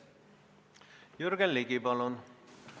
Jürgen Ligi, palun!